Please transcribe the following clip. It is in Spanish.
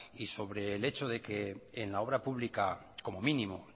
y sobre el hecho de que en la obra pública como mínimo